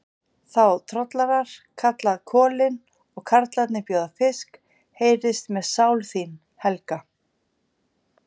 Þá trollarar kalla kolin, og karlarnir bjóða fisk, heyrist mér sál þín, Helga!